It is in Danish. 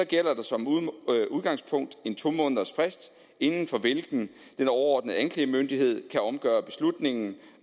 gælder der som udgangspunkt en to måneders frist inden for hvilken den overordnede anklagemyndighed kan omgøre beslutningen